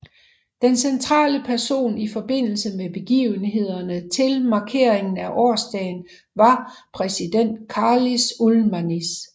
Den centrale person i forbindelse med begivenhederne til markeringen af årsdagen var præsident Karlis Ulmanis